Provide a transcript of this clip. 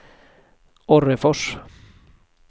Orrefors